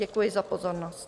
Děkuji za pozornost.